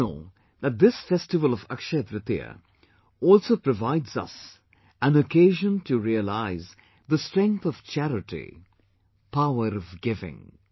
Did you know that this festival of AkshayaTritiya also provides us an occasion to realize the strength of charity Power of giving